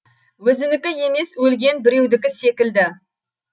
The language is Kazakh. өзінікі емес өлген біреудікі секілді